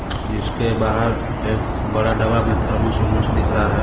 जिस के बाहर एक बड़ा डब्बा में थर्मस बर्मस दिख रहा है.